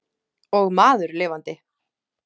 Og maður lifandi.